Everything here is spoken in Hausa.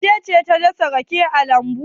Wace ce ta dasa rake a lambu?